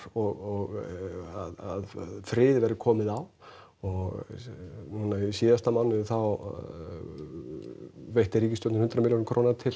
og að friði verði komið á og núna í síðasta mánuði þá veitti ríkisstjórnin hundrað milljónum króna til